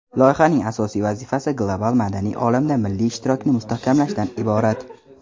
Loyihaning asosiy vazifasi global madaniy olamda milliy ishtirokni mustahkamlashdan iborat.